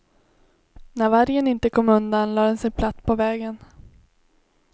När vargen inte kom undan lade den sig platt på vägen.